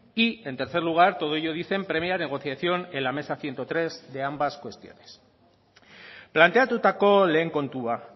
y en tercer lugar todo ello dicen previa negociación en la mesa ciento tres de ambas cuestiones planteatutako lehen kontua